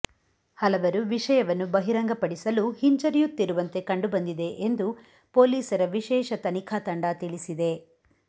ಹಲವರು ವಿಷಯವನ್ನು ಬಹಿರಂಗಪಡಿಸಲು ಹಿಂಜರಿಯುತ್ತಿರುವಂತೆ ಕಂಡು ಬಂದಿದೆ ಎಂದು ಪೊಲೀಸರ ವಿಶೇಷ ತನಿಖಾ ತಂಡ ತಿಳಿಸಿದೆ